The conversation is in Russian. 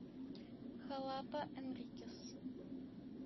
халапа энрикес